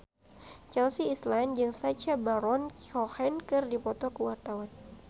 Chelsea Islan jeung Sacha Baron Cohen keur dipoto ku wartawan